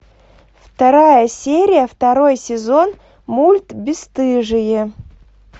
вторая серия второй сезон мульт бесстыжие